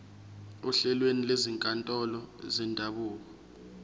ohlelweni lwezinkantolo zendabuko